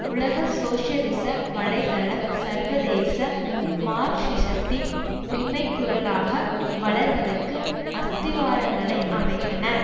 உலக சோசியலிச வலை தளம் சர்வதேச மார்க்சிசத்தின் உண்மை குரலாக வளர்வதற்கு அஸ்திவாரங்களை அமைத்தன